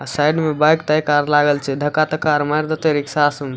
अ side में bike ताइक car लागल छै धक्का-तक्का कार मार देतो रिक्शा सन --